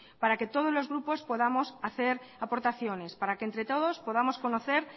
para que todos los grupos podamos hacer aportaciones para que entre todos podamos conocer